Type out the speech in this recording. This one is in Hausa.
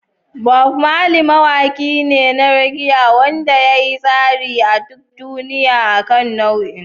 Bob Marley mawaki ne na reggae wanda ya yi tasiri a duk duniya akan nau'in.